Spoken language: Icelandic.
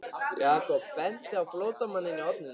Jakob benti á flóttamanninn í horninu.